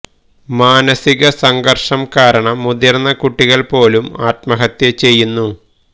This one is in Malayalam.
മാനസിക സംഘർഷം കാരണം മുതിർന്ന കുട്ടികൾ പോലും ആത്മഹത്യ ചെയ്യുന്നു